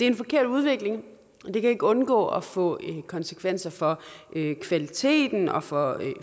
en forkert udvikling og det kan ikke undgå at få konsekvenser for kvaliteten og for